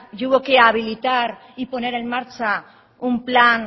y hubo que habilitar y poner en marcha un plan